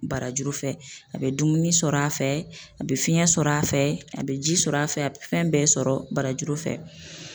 Barajuru fɛ, a bɛ dumuni sɔrɔ a fɛ, a bɛ fiɲɛ sɔrɔ a fɛ, a bɛ ji sɔrɔ a fɛ, a bɛ fɛn bɛɛ sɔrɔ barajuru fɛ.